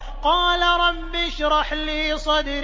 قَالَ رَبِّ اشْرَحْ لِي صَدْرِي